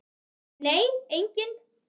Nei, enginn